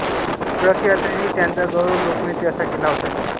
प्र के अत्रेंनी त्यांचा गौरव लोकनेते असा केला होता